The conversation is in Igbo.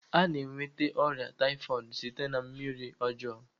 Ana enweta ọrịa taifọdu site na mmiri ọjọọ m